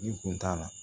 Ni kun t'a la